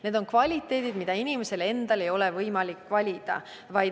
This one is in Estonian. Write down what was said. Need on omadused, mida inimesel endal ei ole võimalik valida.